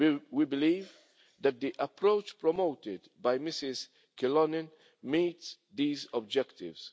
We believe that the approach promoted by Ms Kyllönen meets these objectives.